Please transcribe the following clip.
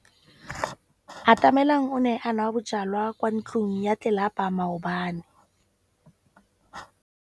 Atamelang o ne a nwa bojwala kwa ntlong ya tlelapa maobane.